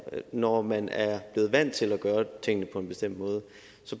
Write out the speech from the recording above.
når man er blevet vant til at gøre tingene på en bestemt måde